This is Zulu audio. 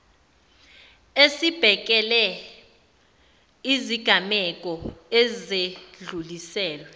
esibhekele izigameko ezedluliselwe